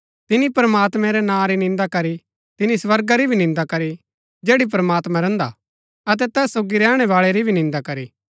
तिनी प्रमात्मैं रै नां री निन्दा करी तिनी स्वर्गा री भी निन्दा करी जैड़ी प्रमात्मां रैहन्दा हा अतै तैस सोगी रैहणै बाळै री भी निन्दा करी